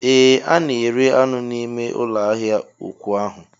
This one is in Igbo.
Ee a na-ere anụ n'ime ụlọ ahịa ụkwụ ahụ